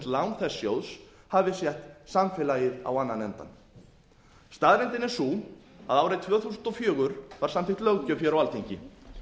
þess sjóðs hafi sett samfélagið á annan endann staðreyndin er sú að árið tvö þúsund og fjögur var samþykkt löggjöf hér á alþingi